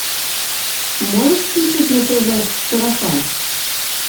можешь включить на тв сарафан